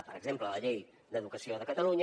per exemple la llei d’educació de catalunya